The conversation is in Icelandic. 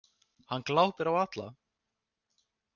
Hann glápir á alla.